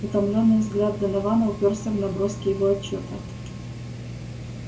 утомлённый взгляд донована упёрся в наброски его отчёта